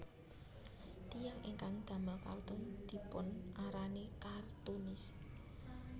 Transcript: Tiyang ingkang damel kartun dipunarani kartunis